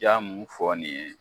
I ya mun fɔ nin ye